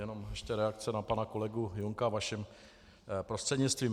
Jenom ještě reakce na pana kolegu Junka vaším prostřednictvím.